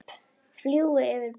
Fjúki yfir brúna.